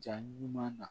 Jaa ɲuman na